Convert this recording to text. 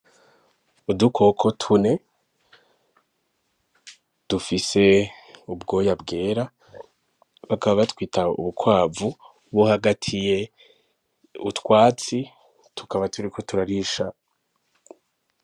Udukoko tune dufise ubwoya bwera bakaba batwita ubukwavu buhagatiye utwatsi tukaba turiko turarisha.